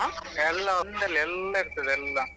ಎಲ್ಲಾ ಒಂದ್ರಲ್ಲೇ ಎಲ್ಲಾ ಇರ್ತದೆ ಎಲ್ಲಾ.